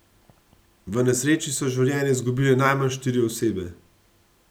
V nesreči so življenje izgubile najmanj štiri osebe.